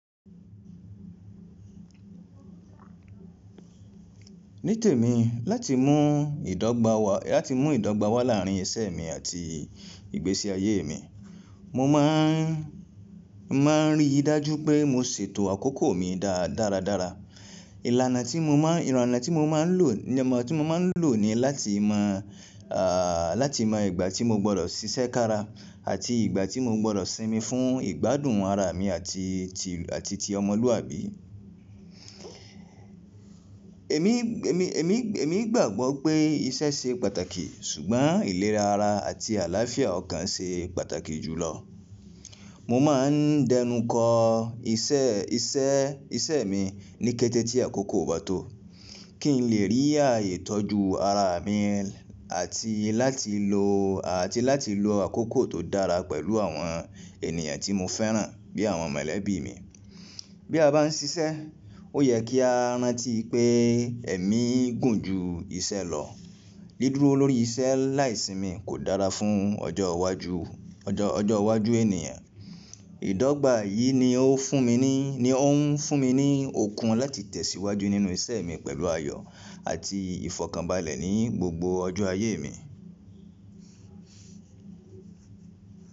Ní tèmi láti mú ìdọ́gba wá láàrín ìṣe mi àti ìgbésí ayé mi, mo máa ń rí i dájú pé mo ṣètò àkókò mi dáradára. Ìlànà tí mo máa ń lò ní láti mọ ìgbà tí mo gbọdọ̀ ṣiṣẹ́ kára àti ìgbà tí mo gbọdọ̀ sinmi fún ìgbádùn ara mi àti ti ọmọlúàbí. Èmi gbàgbọ́ pé iṣẹ́ ṣe pàtàkì ṣùgbọ́n ìlera ara àti àlàáfíà ọkàn ṣe pàtàkì jùlọ. Mo máa ń dẹnukọ̀ iṣẹ́ mi ní kété tí àkókò ò bá tó, kí n lè rí ààyè tọ́jú ara mi àti láti lo àkókò tó dára pẹ̀lú àwọn ènìyàn tí mo fẹ́ràn bí àwọn mọ̀lẹ́bí mi. Bí a bá ń ṣiṣẹ́, ó yẹ kí a rántí pé ẹ̀mí gùn ju iṣẹ́ lọ. Dídúró lórí iṣẹ́ láì sinmi kò dára fún ọjọ́ iwájú ènìyàn. Ìdọ́gba yìí ni ó ń fún mi ní okun láti tẹ̀síwájú nínú ìṣe mi pẹ̀lú ayọ̀ àti ìfọ̀kànbalẹ̀ ní gbogbo ọjọ́ ayé mi.